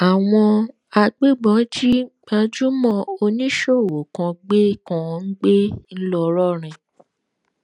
àwọn agbébọn jí gbajúmọ oníṣòwò kan gbé kan gbé ńlọrọrìn